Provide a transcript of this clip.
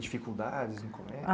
Dificuldades no colé...